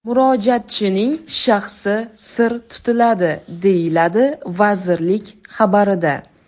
Murojaatchining shaxsi sir tutiladi”, deyiladi vazirlik xabarida.